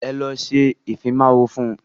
Ẹ lọ ṣe ìfimáwọ fún.